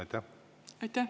Aitäh!